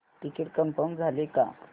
ticket confirm झाले का